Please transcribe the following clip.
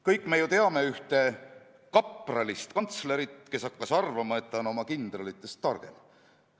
Kõik me ju teame ühte kapralist riigikantslerit, kes hakkas arvama, et ta on oma kindralitest targem.